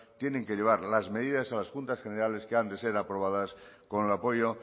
tienen que llevar las medidas a las juntas generales que han de ser aprobadas con el apoyo